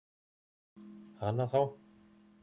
Hana þá!